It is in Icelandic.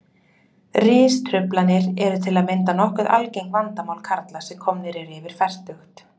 Ristruflanir eru til að mynda nokkuð algengt vandamál karla sem komnir eru yfir fertugt.